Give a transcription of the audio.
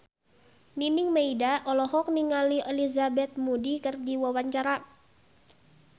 Nining Meida olohok ningali Elizabeth Moody keur diwawancara